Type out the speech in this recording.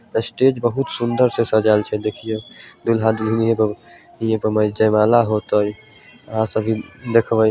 Stage बहुत सुन्दर से सज़ाएल छे देखिअ। दूल्हा दुल्हन हियें पर हियें पर जयमाला होतइ और सभी देखबई।